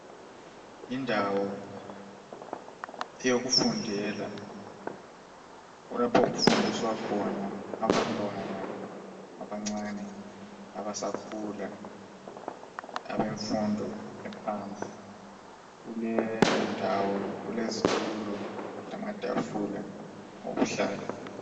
Indawo eyokufundela lapho okufundiswa khona abantwana abancane abasakhula abemfundo ephansi kuleyo ndawo kulezitulo lamatufula okuhlala.